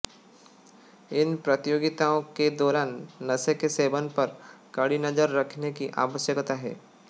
इन प्रतियोगिताओं के दौरान नशे के सेवन पर कड़ी नज़र रखने की आवश्यकता है